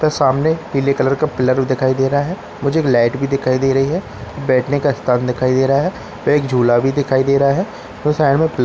त सामने पीले कलर का पीलर भी दिखाई दे रहा है मुझे एक लाइट भी दिखाई दे रही है बैठने का स्थान भी दिखाई दे रहा है व एक झूला भी दिखाई दे रहा है व साइड में --